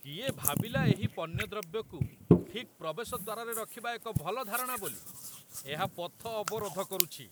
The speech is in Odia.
କିଏ ଭାବିଲା ଏହି ପଣ୍ୟଦ୍ରବ୍ୟକୁ ଠିକ୍ ପ୍ରବେଶ ଦ୍ୱାରରେ ରଖିବା ଏକ ଭଲ ଧାରଣା ବୋଲି? ଏହା ପଥ ଅବରୋଧ କରୁଛି।